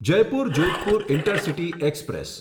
Jaipur Jodhpur intercity express